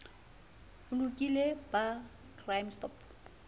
o lokile ba crime stop